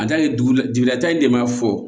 A ta ye dugu la jigilatan in de b'a fɔ